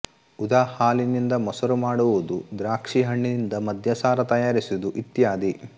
ಉದಾ ಹಾಲಿನಿಂದ ಮೊಸರು ಮಾಡುವುದು ದ್ರಾಕ್ಷೀ ಹಣ್ಣಿನಿಂದ ಮದ್ಯಸಾರ ತಯಾರಿಸುವುದು ಇತ್ಯಾದಿ